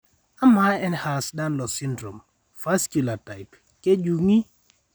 amaa Ehlers Danlos syndrome, vasculer type kejung'i?